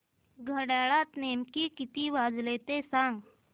घड्याळात नेमके किती वाजले ते सांग